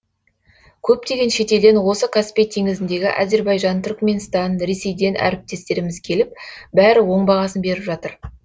көптеген шетелден осы каспий теңізіндегі әзербайжан түрікменстан ресейден әріптестеріміз келіп бәрі оң бағасын беріп жатыр